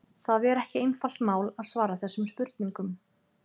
Það er ekki einfalt mál að svara þessum spurningum.